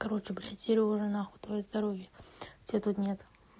короче блять серёжа нахуй твоё здоровье тебя тут нет